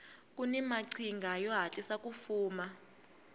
kuni maqhinga yo hatlisa ku fuma